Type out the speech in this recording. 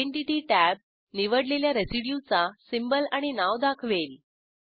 identity tab निवडलेल्या रेसिड्यूचा symbol आणि नाव दाखवेल